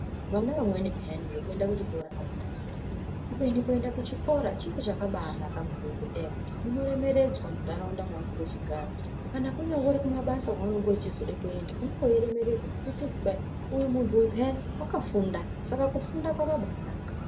Vana vamweni pheyani zvekuenda kuchikora havadi, kubeni kuenda kuchikora chiro chakabanaka maningi, Ngendaa yekuti unoremeredzwa muntaraunda maunenge uchigara. Kana kunyambori kumabasa kwaunonge uchizode kuenda, unenge weiremeredzwa, uchizi kwai , 'Uyu muntu uyu pheyani, wakafunda'. Saka kufunda kwakabanaka.